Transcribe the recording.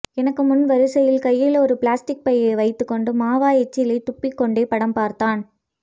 என்க்கு முன் வரிசையில் கையில் ஒரு பிளாஸ்ட்டிக் பை வைத்துக்கொண்டு மாவா எச்சிலை தப்பிக்கொண்டே படம் பார்த்தான்